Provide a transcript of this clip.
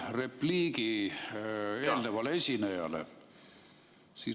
... repliigi eelnevale esinejale.